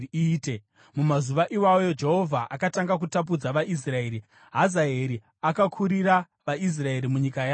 Mumazuva iwayo Jehovha akatanga kutapudza vaIsraeri. Hazaeri akakurira vaIsraeri munyika yavo yose